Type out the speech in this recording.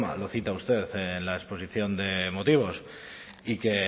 lo cita usted en la exposición de motivos y que